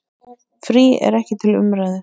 Frí er ekki til umræðu.